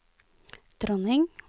dronning